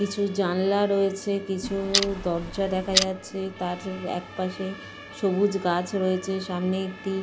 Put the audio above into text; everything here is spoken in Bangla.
কিছু জানলা রয়েছে কিছু দরজা দেখা যাচ্ছে। তার এক পাশে সবুজ গাছ রয়েছে। সামনে একটি।